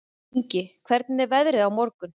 Ingi, hvernig er veðrið á morgun?